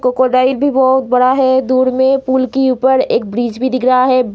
Crocodile भी बहुत बड़ा है दूर में पूल की ऊपर एक ब्रिज भी दिख रहा है।